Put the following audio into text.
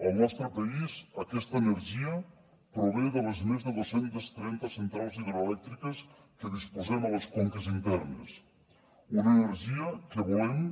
al nostre país aquesta energia prové de les més de dos cents i trenta centrals hidroelèctriques de què disposem a les conques internes una energia que volem